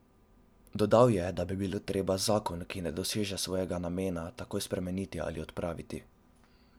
Dodal je, da bi bilo treba zakon, ki ne doseže svojega namena, takoj spremeniti ali odpraviti.